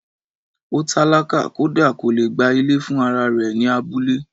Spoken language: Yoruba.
Ó tálákà kódà kò lè gba Ilé fún ara rẹ̀ ní abúlé